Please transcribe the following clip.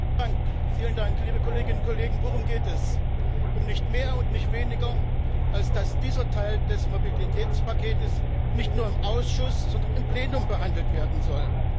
Frau Präsidentin, liebe Kolleginnen und Kollegen! Worum geht es? Um nicht mehr und nicht weniger, als dass dieser Teil des Mobilitätspakets nicht nur im Ausschuss, sondern im Plenum behandelt werden soll.